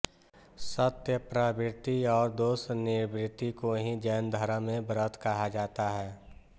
सत्प्रवृत्ति और दोषनिवृत्ति को ही जैनधर्म में व्रत कहा जाता है